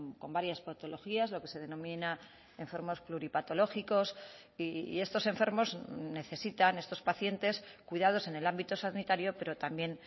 con varias patologías lo que se denomina enfermos pluripatológicos y estos enfermos necesitan estos pacientes cuidados en el ámbito sanitario pero también